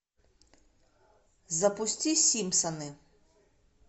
запусти симпсоны